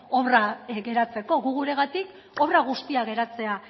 obra geratzeko guk guregatik obra guztia geratzea